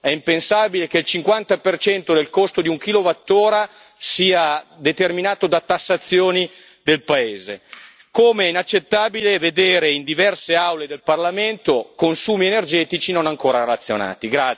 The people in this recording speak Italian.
È impensabile che il 50 del costo di un kilowattora sia determinato da tassazioni del paese, come è inaccettabile vedere in diverse aule del Parlamento consumi energetici non ancora razionati.